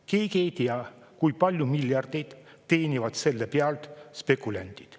Keegi ei tea, kui palju miljardeid teenivad selle pealt spekulandid.